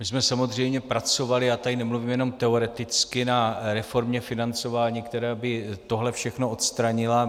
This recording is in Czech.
My jsme samozřejmě pracovali - já tady nemluvím jenom teoreticky - na reformě financování, která by tohle všechno odstranila.